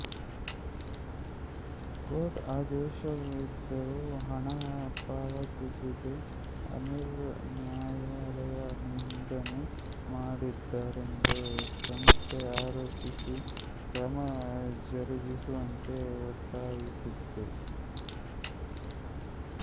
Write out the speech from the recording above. court ಆದೇಶವಿದ್ದರೂ ಹಣ ಪಾವತಿಸದೆ ಅನಿಲ್ ನ್ಯಾಯಾಲಯ ನಿಂದನೆ ಮಾಡಿದ್ದಾರೆಂದು ಸಂಸ್ಥೆ ಆರೋಪಿಸಿ ಕ್ರಮ ಜರುಗಿಸುವಂತೆ ಒತ್ತಾಯಿಸಿತ್ತು